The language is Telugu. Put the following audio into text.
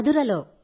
మధురలో